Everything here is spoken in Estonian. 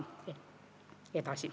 Aitäh!